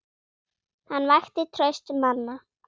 Hann vakti traust manna.